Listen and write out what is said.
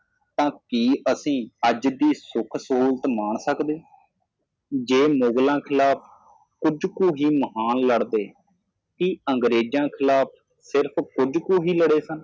ਤਾਂ ਕਿ ਅਸੀਂ ਅੱਜ ਦੀ ਸੁੱਖ ਸਹੂਲਤ ਮਾਣ ਸਕਦੇ ਜੇ ਮੁਗਲਾਂ ਖਿਲਾਫ਼ ਕੁਝ ਕੁ ਹੀ ਮਹਾਨ ਲੜਦੇ ਕਿ ਅੰਗਰੇਜਾਂ ਖਿਲਾਫ਼ ਸਿਰਫ਼ ਕੁੱਝ ਕੁ ਹੀ ਲੜੇ ਸਨ